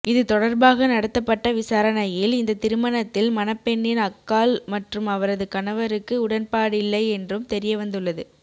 இதுதொடர்பாக நடத்தப்பட்ட விசாரணையில் இந்த திருமணத்தில் மணப்பெண்ணின் அக்காள் மற்றும் அவரது கணவருக்கு உடன்பாடில்லை என்றும் தெரியவந்துள்ளது